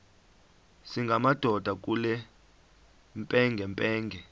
singamadoda kule mpengempenge